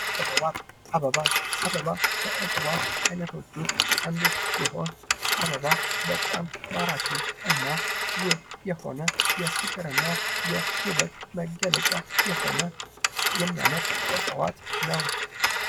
እፅዋት አበባ አበባ ከእፅዋት ዓይነቶች ውስጥ አንዱ ሲሆን፤ አበባ በጣም ማራኪ እና ውብ የሆነ የፍቅር እና የውበት መገለጫ የሆነ የሚያምር እፅዋት ነው።